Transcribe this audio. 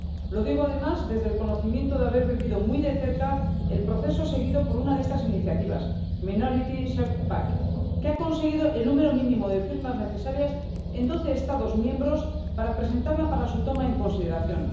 Lo digo además desde el conocimiento de haber vivido muy de cerca el proceso seguido por una de estas iniciativas, Minority Safe Pack, que ha conseguido el número mínimo de firmas necesarias en doce Estados miembros para presentarla para su toma en consideración.